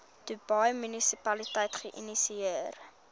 dubai munisipaliteit geïnisieer